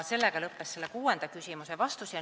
Sellega lõppes kuuenda küsimuse vastus.